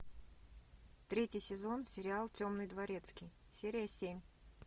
третий сезон сериал темный дворецкий серия семь